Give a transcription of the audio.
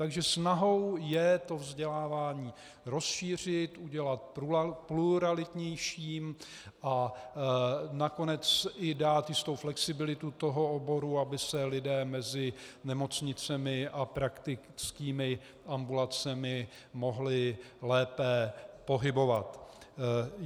Takže snahou je to vzdělávání rozšířit, udělat pluralitnějším a nakonec i dát jistou flexibilitu toho oboru, aby se lidé mezi nemocnicemi a praktickými ambulancemi mohli lépe pohybovat.